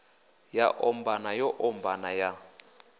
ya ombana yo ombana ya